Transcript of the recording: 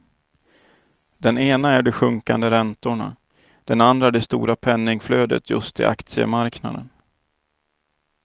Den ena är de sjunkande räntorna, den andra det stora penningflödet just till aktiemarknaden.